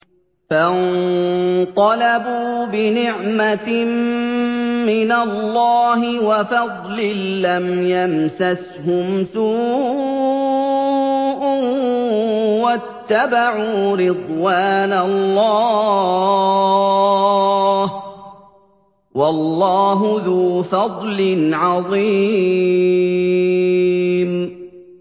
فَانقَلَبُوا بِنِعْمَةٍ مِّنَ اللَّهِ وَفَضْلٍ لَّمْ يَمْسَسْهُمْ سُوءٌ وَاتَّبَعُوا رِضْوَانَ اللَّهِ ۗ وَاللَّهُ ذُو فَضْلٍ عَظِيمٍ